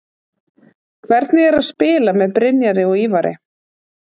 Hvernig er að spila með Brynjari og Ívari?